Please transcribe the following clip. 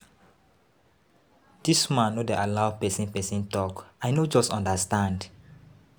Dis man no dey allow person person talk. I no just understand.